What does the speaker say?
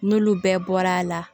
N'olu bɛɛ bɔra a la